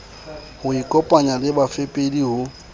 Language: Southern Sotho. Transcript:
ho ikopanya le bafepedi ho